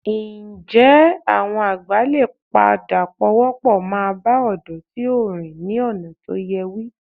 Ǹjẹ́ àwọn àgbà lè padà pawọ́pọ̀ máa bá ọ̀dọ́ tí ò rìn ọ̀nà tó yẹ wí?